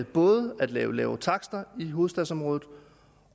både at lave lavere takster i hovedstadsområdet